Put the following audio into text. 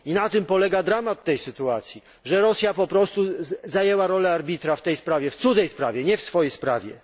I na tym polega dramat tej sytuacji, że Rosja po prostu przyjęła rolę arbitra w tej sprawie, w cudzej, nie swojej, sprawie.